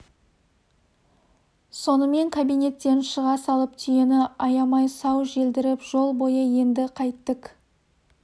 сонымен кабинеттен шыға салып түйені аямай сау желдіріп жол бойы енді қайттік